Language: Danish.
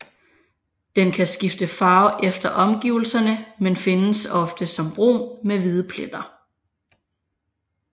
Den kan skifte farve efter omgivelserne men findes ofte som brun med hvide pletter